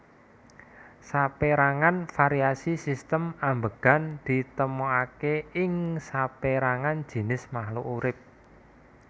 Sapérangan variasi sistem ambegan ditemoaké ing sapérangan jinis makluk urip